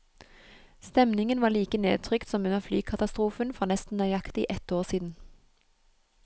Stemningen var like nedtrykt som under flykatastrofen for nesten nøyaktig ett år siden.